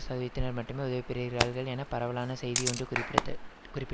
சதவீதத்தினர் மட்டுமே உதவி பெறுகிறார்கள் என பரவலான செய்தி ஒன்று குறிப்பிடது குறிப்பிட்